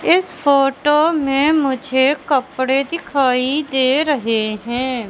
इस फोटो में मुझे कपड़े दिखाई दे रहे हैं।